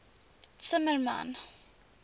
zimmermann